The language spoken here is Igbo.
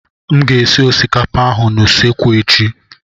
M ga-esi osikapa ahụ n'usekwu echi.